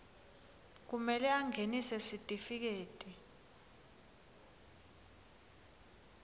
kumele angenise sitifiketi